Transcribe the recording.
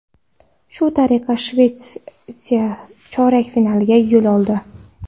Shu tariqa Shvetsiya chorak finalga yo‘l oldi.